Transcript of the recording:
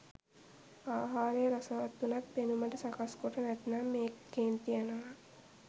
ආහාරය රසවත් වුණත් පෙනුමට සකස් කොට නැත්නම් ඒත් කේන්ති යනවා.